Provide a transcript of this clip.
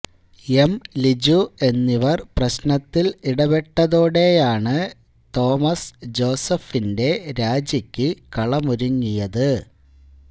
M Liju എന്നിവർ പ്രശ്നത്തിൽ ഇടപെട്ടതോടെയാണ് തോമസ് ജോസഫിന്റെ രാജിക്ക് കളമൊരുങ്ങിയത്